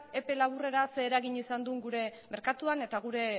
epe laburrera zer eragin izan duen gure merkatuan eta gure